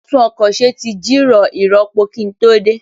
A tún ọkọ̀ ṣe tí jìrọ̀ ìrọpo kí n tó dé